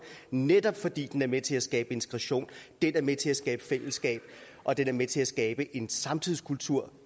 netop fordi den er med til at skabe integration den er med til at skabe fællesskab og den er med til at skabe en samtidskultur